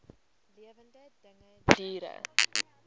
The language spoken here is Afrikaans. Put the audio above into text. lewende dinge diere